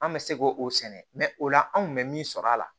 An bɛ se k'o sɛnɛ o la an kun bɛ min sɔrɔ a la